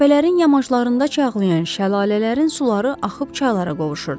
Təpələrin yamaclarında çaylağan şəlalələrin suları axıb çaylara qovuşurdu.